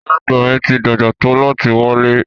Ìyá Àgbà ti dàgbà tó láti wálẹ́.